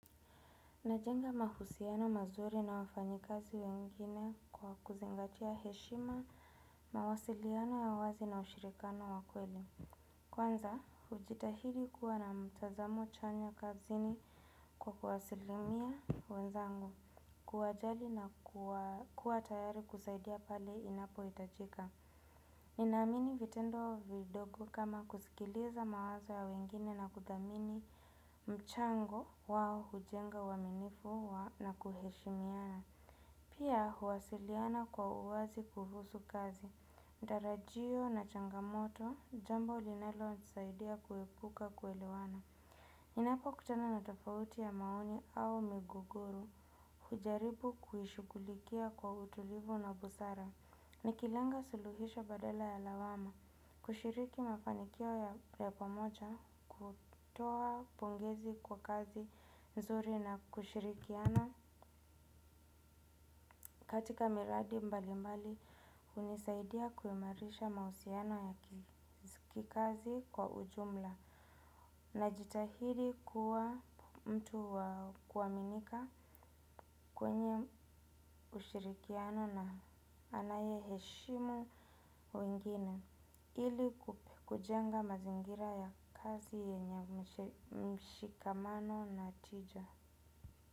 Najenga mahusiano mazuri na wafanyikazi wengine kwa kuzingatia heshima mawasiliano ya wazi na ushirikano wa kweli. Kwanza, hujitahidi kuwa na mtazamo chanya kazini kwa kuwasilimia wenzangu kuwajali na kuwa tayari kusaidia pale inapo hitajika. Ninaamini vitendo vidogo kama kusikiliza mawazo ya wengine na kuthamini mchango wao hujenga uaminifu na kuheshimiana. Pia huwasiliana kwa uwazi kuhusu kazi. Tarajio na changamoto jambo linalonisaidia kuepuka kuelewana. Ninapokutana na tofauti ya maoni au migogoro. Hujaribu kuishugulikia kwa utulivu na busara. Nikilenga suluhisho badala ya lawama, kushiriki mafanikio ya pamoja, kutoa pongezi kwa kazi nzuri na kushirikiana katika miradi mbali mbali. Hunisaidia kuimarisha mahusiano ya kikazi kwa ujumla. Najitahidi kuwa mtu wa kuaminika kwenye ushirikiano na anayeheshimu wengine. Ili kujenga mazingira ya kazi yenye mshikamano na tija.